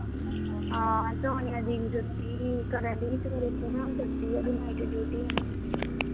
ਹਾਂ, ਸੋਨੀਆ ਦੀਦੀ ਨੂੰ ਜੋਤੀ ਕਰਣ ਡੇਈ ਸੀ ਮੇਰੇ ਫੋਨ, ਸੁੱਤੀ ਹੈ, ਓਹਦੀ ਨਾਈਟ ਡਿਊਟੀ ਹੈਨਾ